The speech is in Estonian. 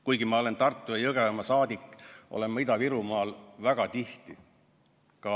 Kuigi ma olen Tartu- ja Jõgevamaa saadik, olen ma Ida-Virumaal käinud väga tihti.